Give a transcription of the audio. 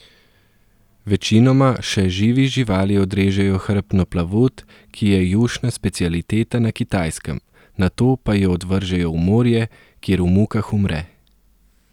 Večinoma še živi živali odrežejo hrbtno plavut, ki je jušna specialiteta na Kitajskem, nato pa jo odvržejo v morje, kjer v mukah umre.